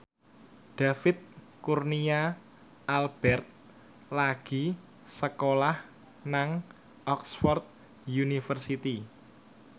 David Kurnia Albert lagi sekolah nang Oxford university